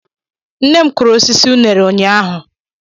Nne m kụrụ osisi unere ụnyahụ.